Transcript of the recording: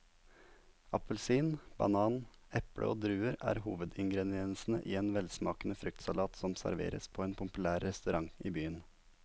Appelsin, banan, eple og druer er hovedingredienser i en velsmakende fruktsalat som serveres på en populær restaurant i byen.